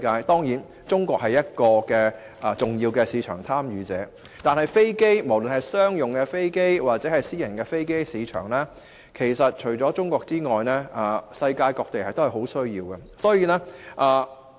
當然，中國是個重要市場，但無論是商用飛機或私人飛機的市場，除中國外，世界各地都有很大的需要。